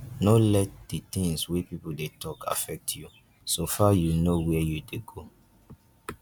no let di things wey pipo dey talk affect you so far you know where you dey go